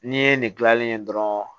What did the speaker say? N'i ye nin gilanlen ye dɔrɔn